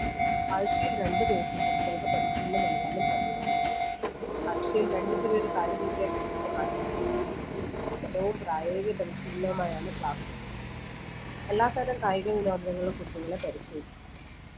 ആഴ്ചയിൽ രണ്ട് ദിവസം കുട്ടികൾക്ക് പരിശീലനം നൽകാനും പദ്ധതിയായി ആഴ്ചയിൽ രണ്ട് period കായിക വിദ്യാഭ്യാസത്തിനായി മാറ്റി വെച്ചിട്ടുണ്ട് പഠനവും പ്രായോഗിക പരിശീലനവുമായാണ് class നടക്കുന്നത് എല്ലാതരം കായിക വിനോദങ്ങളും കുട്ടികളെ പരിശീലിപ്പിക്കുക